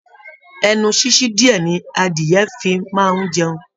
Ẹnu sisi diẹ ni adìyẹ̀ fi máa n jẹun.